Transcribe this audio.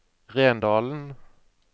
Rendalen